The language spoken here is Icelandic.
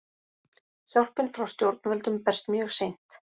Hjálpin frá stjórnvöldum berst mjög seint